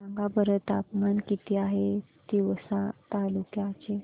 सांगा बरं तापमान किती आहे तिवसा तालुक्या चे